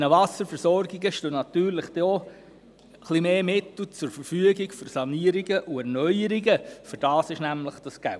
Diesen Wasserversorgungen stehen dann mehr Mittel für Sanierungen und Erneuerungen zur Verfügung, denn das Geld ist nämlich dafür vorhanden.